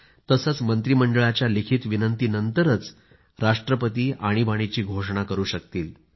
तसंच मंत्रिमंडळाच्या लिखित विनंतीनंतरच राष्ट्रपती आणीबाणीची घोषणा करू शकतील